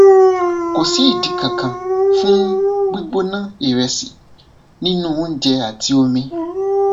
kò sí ìdí kankan fún gbígbóná ìrẹsì nínú oúnjẹ àti omi